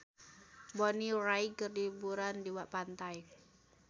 Bonnie Wright keur liburan di pantai